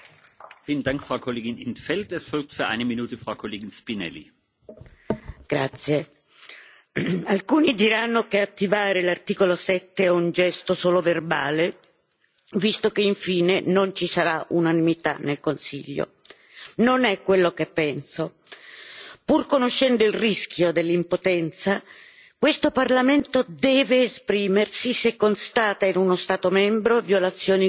Signor Presidente, onorevoli colleghi, alcuni diranno che attivare l'articolo 7 è un gesto solo verbale visto che, alla fine, non ci sarà unanimità al Consiglio. Non è quello che penso. Pur conoscendo il rischio dell'impotenza, questo Parlamento deve esprimersi se constata in uno Stato membro violazioni gravi dell'articolo